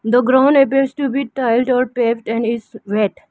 The ground appears to be tiled or paved and is wet.